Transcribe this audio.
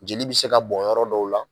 Jeli bi se ka bon yɔrɔ dɔw la.